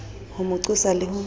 ho mo qosa le ho